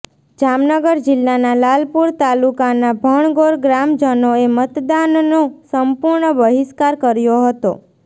જામનગર જીલ્લાના લાલપુર તાલુકાના ભણગોર ગ્રામજનોએ મતદાનનો સંપૂર્ણ બહિસ્કાર કર્યો હતો